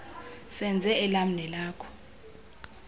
senze elam nelakho